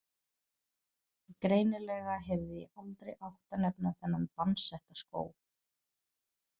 Greinilega hefði ég aldrei átt að nefna þennan bannsetta skóg.